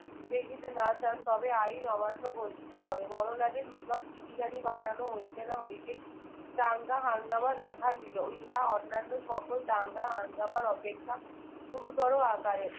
দেখিতে না চান তবে আইন অমান্য ঘোষিত হবে। বড়লাটের নিকট চিঠিখানি পাঠানো হইতে না হইতেই দাঙ্গা হাঙ্গামা দেখা দিলো। ইহা অন্যান্য সকল দাঙ্গা হাঙ্গামার অপেক্ষা গুরুতর আকারের।